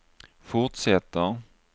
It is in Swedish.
fortsätter